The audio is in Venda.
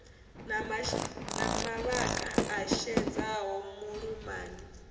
na mavhaka a xedzaho vhuṱumani